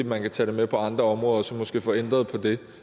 man kan tage det med på andre områder og så måske få ændret på det